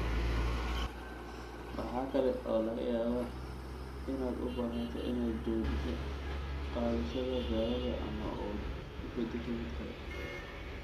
Waxa kale oo laga yaabaa inaad u baahato inaad joojiso qaadashada daawada ama u beddesho mid kale.